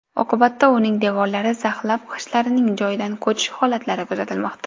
Oqibatda uning devorlari zaxlab g‘ishtlarning joyidan ko‘chish holatlari kuzatilmoqda.